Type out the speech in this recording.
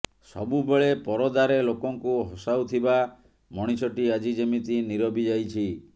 ସବୁବେଳେ ପରଦାରେ ଲୋକଙ୍କୁ ହସାଉଥିବା ମଣିଷଟି ଆଜି ଯେମିତି ନିରବି ଯାଇଛି